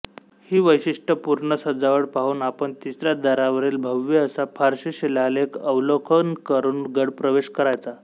ही वैशिष्ट्यपूर्ण सजावट पाहून आपण तिसऱ्या दारावरील भव्य असा फारशी शिलालेख अवलोकन करून गडप्रवेश करायचा